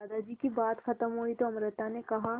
दादाजी की बात खत्म हुई तो अमृता ने कहा